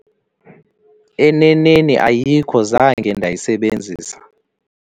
Eneneni ayikho, zange ndayisebenzisa.